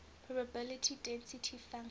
probability density function